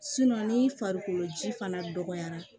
ni farikolo ji fana dɔgɔyara